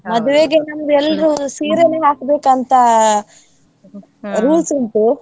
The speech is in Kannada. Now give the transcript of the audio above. ಮದುವೆಗೆ ಒಂದು ಎಲ್ರೂ ಸೀರೆನೆ ಹಾಕ್ಬೇಕಂತಾ rules ಉಂಟು .